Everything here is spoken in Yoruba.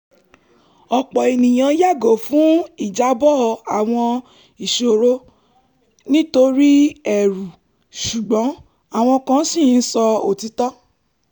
ọ̀pọ̀ ènìyàn yàgo fún ìjábọ̀ àwọn iṣòro nítorí ẹ̀rù ṣùgbọ́n àwọn kan ṣì ń sọ òtítọ́